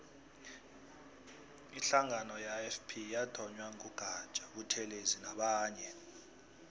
ihlangano ye ifp yathonywa ngu gaja buthelezi nabanye